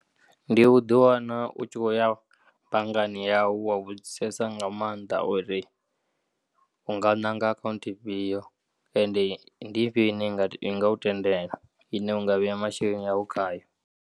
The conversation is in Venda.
Ndi u ḓiwana u tshi khou ya banngani yau wa vhudzisesa nga maanḓa uri unga nanga akhaunthu ifhiyo ende ndi ifhiyo ine ya ngau tendela ine unga vheya masheleni awu khayo.